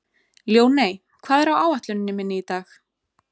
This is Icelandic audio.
Ljóney, hvað er á áætluninni minni í dag?